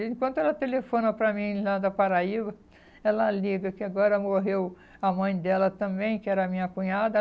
Enquanto ela telefona para mim lá da Paraíba, ela liga que agora morreu a mãe dela também, que era a minha cunhada.